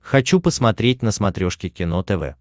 хочу посмотреть на смотрешке кино тв